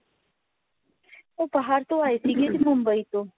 ਉਹ ਬਾਹਰ ਤੋਂ ਆਏ ਸੀ ਮੁੰਬਈ ਤੋਂ